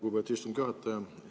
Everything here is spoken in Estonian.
Lugupeetud istungi juhataja!